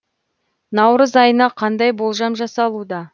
наурыз айына қандай болжам жасалуда